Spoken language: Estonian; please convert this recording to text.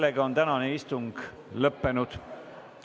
Sellega on tänane istung lõppenud.